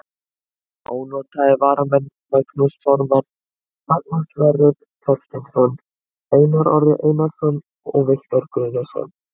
Ónotaðir varamenn: Magnús Þormar, Magnús Sverrir Þorsteinsson, Einar Orri Einarsson, Viktor Guðnason.